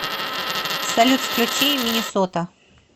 салют включи миннесота